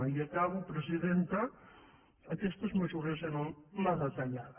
i acabo presidenta aquestes mesures eren la retallada